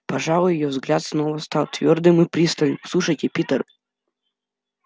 пожалуй её взгляд снова стал твёрдым и пристальным слушайте питер